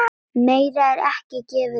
Meira er ekki gefið upp.